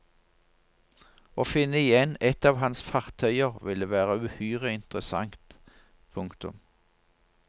Å finne igjen et av hans fartøyer ville være uhyre interessant. punktum